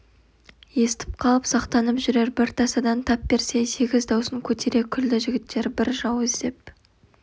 естіп қалып сақтанып жүрер бір тасадан тап берсе сегіз даусын көтере күлді жігіттер біз жау іздеп